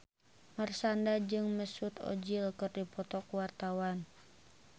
Marshanda jeung Mesut Ozil keur dipoto ku wartawan